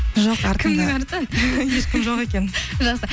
жоқ кімнің арты ешкім жоқ екен жақсы